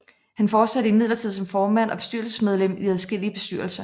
Han fortsatte imidlertid som formand og bestyrelsesmedlem i adskillige bestyrelser